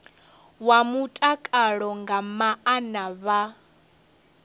wa mutakalo nga maana vha